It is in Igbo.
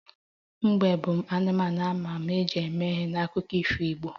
Mbe bụ anụmanụ a ma ama e ji mee ihe n'akụkọ ifo igbo